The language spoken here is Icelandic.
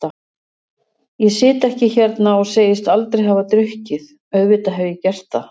Ég sit ekki hérna og segist aldrei hafa drukkið, auðvitað hef ég gert það.